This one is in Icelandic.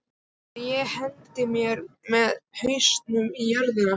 Að ég hendi mér með hausinn í jörðina?